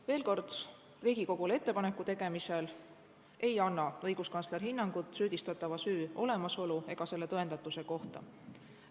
Veel kord: Riigikogule ettepaneku tegemisel ei anna õiguskantsler hinnangut süüdistatava süü olemasolu ega selle tõendatuse kohta.